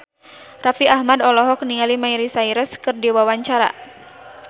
Raffi Ahmad olohok ningali Miley Cyrus keur diwawancara